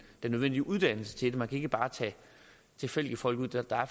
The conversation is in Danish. nødvendige uddannelse til det man kan ikke bare tage tilfældige folk ind der er